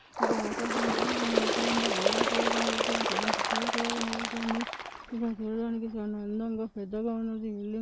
ఇక్కడ ఆకాశం కూడా కనపడుత ఉంది వైర్లు కూడా కనపడుతంది కరెంట్ పోల్ కూడా కనపడుతంది. ఇది చూడ్డానికి చాలా అందంగా పెద్దగా ఉంది బిల్డింగు .